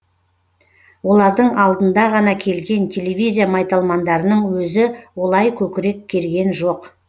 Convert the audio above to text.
олардың алдында ғана келген телевизия майталмандарының өзі олай көкірек керген жоқ